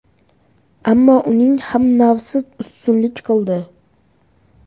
Ammo uning ham nafsi ustunlik qildi.